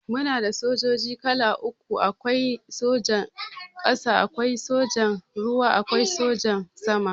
Muana sojoji kala uku, Awai sojojin ƙasa, Awai sojojin ruwa, Awai sojojin sama.